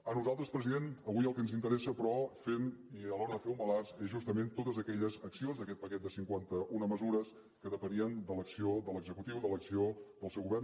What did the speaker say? a nosaltres president avui el que ens interessa però i a l’hora de fer un balanç són justament totes aquelles accions d’aquest paquet de cinquanta una mesures que depenien de l’acció de l’executiu de l’acció del seu govern